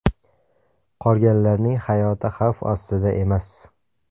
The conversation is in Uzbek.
Qolganlarning hayoti xavf ostida emas.